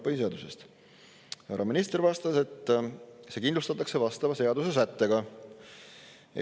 Härra minister vastas, et see kindlustatakse vastava seadusesättega.